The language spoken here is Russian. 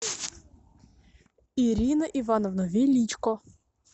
ирина ивановна величко